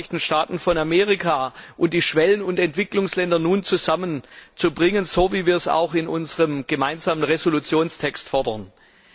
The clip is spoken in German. die Vereinigten Staaten von Amerika und die Schwellen und Entwicklungsländer nun zusammenzubringen, so wie wir es auch in dem Text unserer gemeinsamen Entschließung fordern.